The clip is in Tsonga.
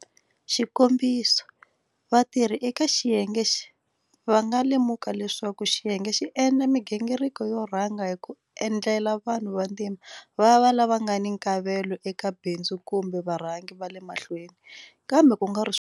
Xikombiso, vatirhi eka xiyenge va nga lemuka leswaku xiyenge xi endla migingiriko yo rhanga hi ku endla vanhu vantima va va lava nga ni nkavelo eka bindzu kumbe varhangi va le mahlweni, kambe ku nga ri swona,